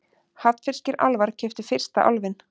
Hafnfirskir álfar keyptu fyrsta Álfinn